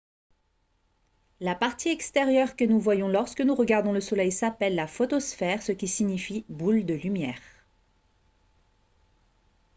la partie extérieure que nous voyons lorsque nous regardons le soleil s’appelle la photosphère ce qui signifie « boule de lumière »